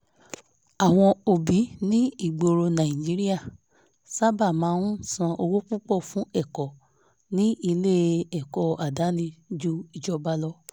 àwọn òbí ní ìgboro nàìjíríà sáábà máa ń san owó púpọ̀ fún ẹ̀kọ́ ní ilé-ẹ̀kọ́ àdáni jù ìjọba lọ